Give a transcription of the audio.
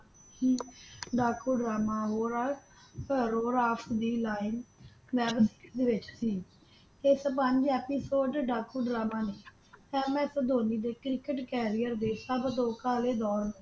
ਦਾ ਕਉ ਡਰਾਮਾ ਰੋ ਰਾਸ਼ਟ ਰੋ ਰਾਸ਼ਟ ਦੀ ਲਾਈਨ ਨੋਬਤ ਦੇ ਵਿਚ ਸੀ ਦੇ ਸਬੰਧ ਵਿਚ ਦਾ ਕਾਉ ਡਰਾਮਾ ਨੇ ਐਮ ਆਸ ਧੋਨੀ ਦੇ cricket Carrier ਸਭ ਤੋਂ ਕਾਲੇ ਦੌਰ